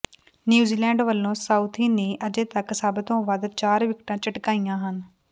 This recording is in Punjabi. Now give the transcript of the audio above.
ਨਿਊਜ਼ੀਲੈਂਡ ਵਲੋਂ ਸਾਊਥੀ ਨੇ ਅਜੇ ਤਕ ਸਭ ਤੋਂ ਵੱਧ ਚਾਰ ਵਿਕਟਾਂ ਝਟਕਾਈਆਂ ਹਨ